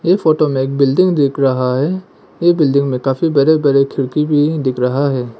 Photo मे एक building दिख रहा है यह बिल्डिंग में काफी बड़े बड़े खिड़की भी दिख रहा है।